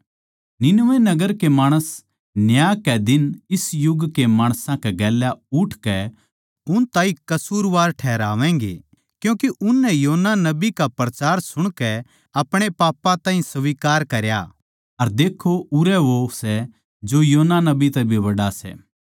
निनवे नगर के माणस न्याय कै दिन इस युग कै माणसां कै गेल्या उठकै उन ताहीं कसूरवार ठैहरावैगें क्यूँके उननै योना नबी का प्रचार सुणकै अपणे पापां ताहीं स्वीकार किया अर देक्खो उरै वो सै जो योना नबी तै भी बड्ड़ा सै